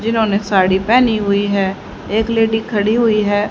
जिन्होंने साड़ी पहनी हुई है एक लेडी खड़ी हुई है।